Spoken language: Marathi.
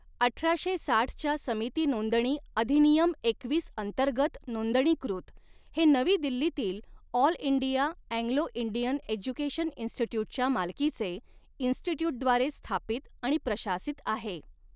अठराशे साठच्या समिती नोंदणी अधिनियम एकवीस अंतर्गत नोंदणीकृत हे नवी दिल्लीतील All India Anglo Indian Education इन्स्टिट्यूटच्या मालकीचे, इन्स्टिट्यूटद्वारे स्थापित आणि प्रशासित आहे.